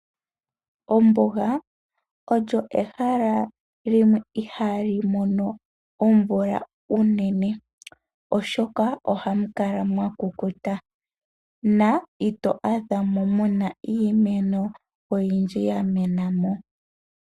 Ombuga olyo ehalo limwe ihalimono omvula uunene. Oshoka ohamukala mwakukuta na ito adhamo muna iimeno oyindji yamenamo.